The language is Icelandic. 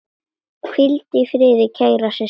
Hvíldu í friði, kæra systir.